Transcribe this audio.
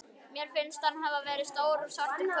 Mér finnst hann vera stór svartur köttur.